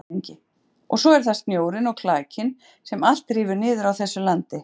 LANDSHÖFÐINGI: Og svo er það snjórinn og klakinn sem allt rífur niður á þessu landi.